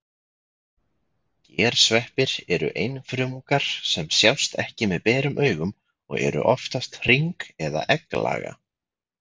Gersveppir eru einfrumungar sem sjást ekki með berum augum og eru oftast hring- eða egglaga.